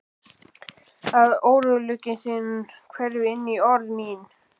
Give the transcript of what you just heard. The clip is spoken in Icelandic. Að óróleiki þinn hverfi inní orð mín.